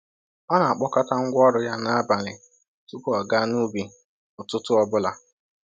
Ọ na-akpọkọta ngwa ọrụ ya n’abalị tupu ọ gaa n’ubi ụtụtụ ọ bụla.